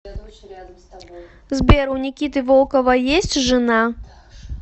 сбер у никиты волкова есть жена